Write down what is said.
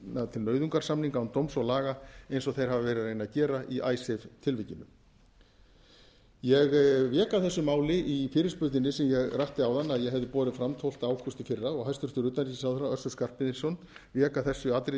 til nauðungarsamninga án dóms og laga eins og þeir hafa verið að reyna að gera í icesave tilvikinu ég vék að þessu máli í fyrirspurninni sem ég rakti áðan að ég hefði borið fram tólfta ágúst í fyrra og hæstvirtur utanríkisráðherra össur skarphéðinsson vék að þessu atriði í